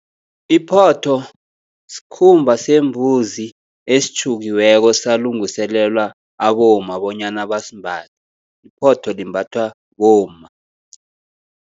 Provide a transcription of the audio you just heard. Iphotho skhumba sembuzi esitjhukiweko salungiselelwa abomma, bonyana basimbathe, iphotho limbathwa bomma.